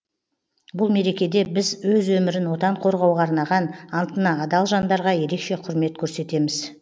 бұл мерекеде біз өз өмірін отан қорғауға арнаған антына адал жандарға ерекше құрмет көрсетеміз